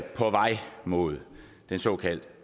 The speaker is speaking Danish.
på vej mod den såkaldte